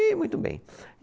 E muito bem.